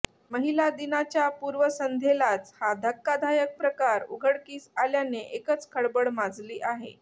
महिला दिनाच्या पूर्वसंध्येलाच हा धक्कादायक प्रकार उघडकिस आल्याने एकच खळबळ माजली आहे